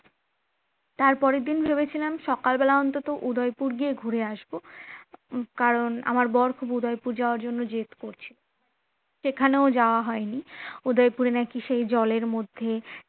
তারপরের দিন ভেবেছিলাম সকালবেলা অন্তত উদয়পুর গিয়ে ঘুরে আসব কারণ আমার বর খুব উদয়পুর যাওয়ার জন্য জেদ করছে সেখানেও যাওয়া হয়নি। উদয়পুরে নাকি সেই জলের মধ্যে